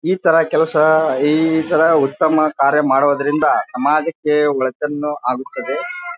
ಈ ತರ ಕೆಲಸ ಈ ತರ ಉತ್ತಮ ಕಾರ್ಯ ಮಾಡೋದ್ರಿಂದ ಸಮಾಜಕ್ಕೆ ಒಳಿತನ್ನು ಆಗುತ್ತದೆ.